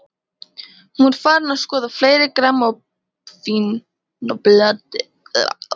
Hún var farin að skoða fleiri grammófónplötur.